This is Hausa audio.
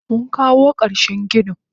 Munkawo karshen ginin.